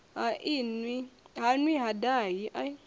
ha nwi ha dahi a